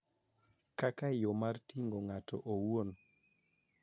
Kaka yo mar rito ng�ato owuon,